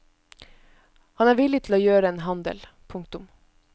Han er villig til å gjøre en handel. punktum